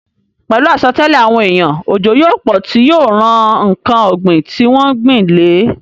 Pẹ̀lú àsọtẹ́lẹ̀ àwọn èèyàn, òjò yóò pọ̀ tí yóò ran ǹkan ògbìn tí wọ́n gbìn le